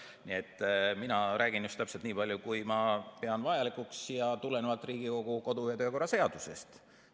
Nii et mina räägin just täpselt nii palju, kui ma pean vajalikuks, ja tulenevalt Riigikogu kodu- ja töökorra seadusest.